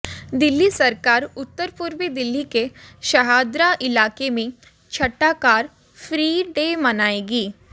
दिल्ली सरकार उत्तर पूर्वी दिल्ली के शहादरा इलाके में छठा कार फ्री डे मनाएगी